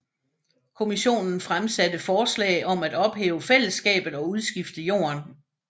Kommissionen fremsatte forslag om ophæve fællesskabet og udskifte jorden